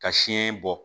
Ka siyɛn bɔ